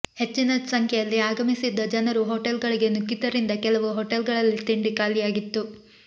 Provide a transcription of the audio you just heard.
ಹೆಚ್ಚಿನ ಸಂಖ್ಯೆಯಲ್ಲಿ ಆಗಮಿಸಿದ್ದ ಜನರು ಹೋಟೆಲ್ಗಳಿಗೆ ನುಗ್ಗಿದ್ದರಿಂದ ಕೆಲವು ಹೋಟೆಲ್ಗಳಲ್ಲಿ ತಿಂಡಿ ಖಾಲಿಯಾಗಿತ್ತು